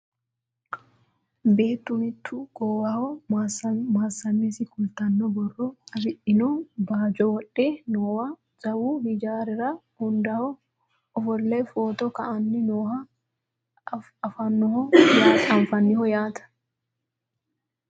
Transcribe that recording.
beettu mittu goowaho mayeemmasi kultanno borro afidhino baajo wodhe noowa jawu hijaarira hundaho ofolle footo ka'anni nooha anfanniho yaate .